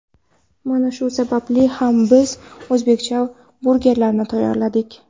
Mana shu sababli ham biz o‘zbekcha burgerlarni tayyorladik.